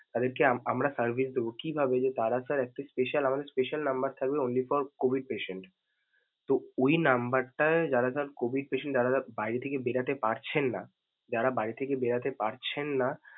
তাদেরকে আমরা service ।